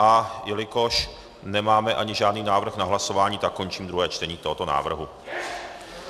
A jelikož nemáme ani žádný návrh na hlasování, tak končím druhé čtení tohoto návrhu.